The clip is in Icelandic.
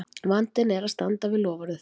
vandinn er að standa við loforðið!